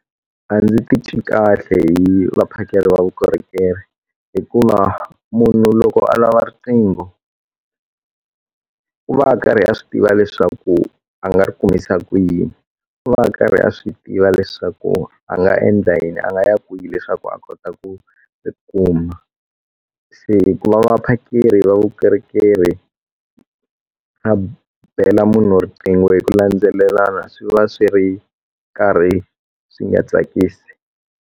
A ndzi ti twi kahle hi vaphakeri va vukorhokeri hikuva munhu loko a lava riqingho u va a karhi a swi tiva leswaku a nga ri kumisa ku yini u va karhi a swi tiva leswaku a nga endla yini a nga ya kwihi leswaku a kota ku kuma se ku va vaphakeri vukorhokeri a bela munhu riqingho hi ku landzelelana swi va swi ri karhi swi nga tsakisi.